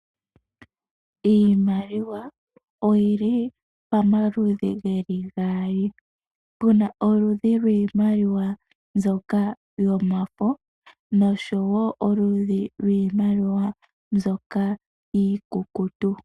Iimaliwa oyi li pamaludhi geli gaali pu na oludhi lwiimaliwa mbyoka yomafo oshowo oludhi lwiimaliwa mbyoka iikukutu.